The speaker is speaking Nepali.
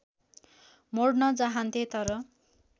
मोड्न चाहन्थे तर